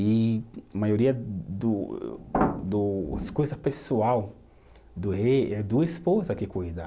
E a maioria do do, as coisa pessoal do rei é a esposa que cuida.